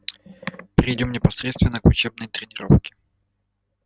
перейдём непосредственно к учебной тренировке